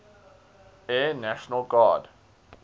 air national guard